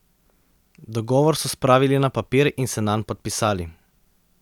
Dogovor so spravili na papir in se nanj podpisali.